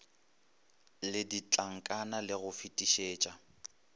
le ditlankana le go fetišetša